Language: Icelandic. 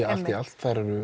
allt í allt